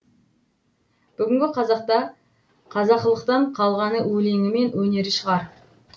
бүгінгі қазақта қазақылықтан қалғаны өлеңі мен өнері шығар